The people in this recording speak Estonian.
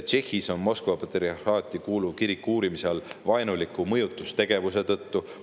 Tšehhis on Moskva patriarhaati kuuluv kirik uurimise all vaenuliku mõjutustegevuse tõttu.